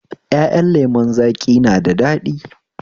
Ƴaƴan lemon zaƙi na da daɗi